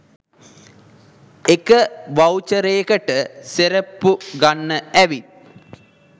එක වවුචරේකට සෙරෙප්පු ගන්න ඇවිත්